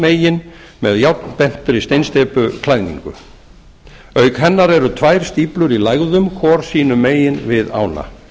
vatnsmegin með járnbentri steinsteypuklæðningu auk hennar eru tvær stíflur í lægðum hvor sínu megin við ána